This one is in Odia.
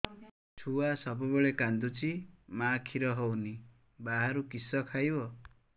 ଛୁଆ ସବୁବେଳେ କାନ୍ଦୁଚି ମା ଖିର ହଉନି ବାହାରୁ କିଷ ଖାଇବ